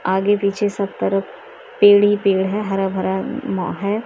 आगे पीछे सब तरफ पेड़ ही पेड़ है हरा भरा है और--